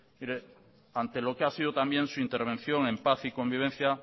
mire ante lo que ha sido también su intervención en paz y convivencia